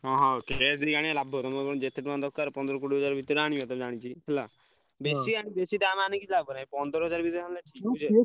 ହଁ ହଁ ଲାଭ ତମର ଯେତେ ଟଙ୍କା ଦରକାର ପନ୍ଦର କୋଡିଏ ହଜାର ଭିତେରେ ଆଣିବ ତ ମୁଁ ଜାଣିଚି ହେଲା। ବେଶି ଆଣି ବେଶି ଦାମ୍ ଆନିକି କିଛି ଲାଭ ନାହିଁ ପନ୍ଦର ହଜାର ଭିତେରେ।